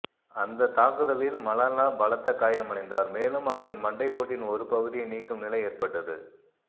அந்த தாக்குதலில் மலாலா பலத்த காயமடைந்தார் மேலும் அவரின் மண்டை ஓட்டின் ஒரு பகுதியை நீக்கும் நிலை ஏற்பட்டது